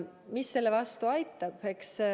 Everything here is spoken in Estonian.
Mis selle vastu aitab?